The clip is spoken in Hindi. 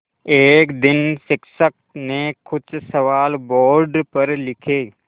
एक दिन शिक्षक ने कुछ सवाल बोर्ड पर लिखे